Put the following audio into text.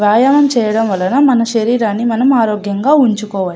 వ్యాయామం చేయడం వలన మన శరీరాన్ని మనం ఆరోగ్యంగా ఉంచుకోవాలి.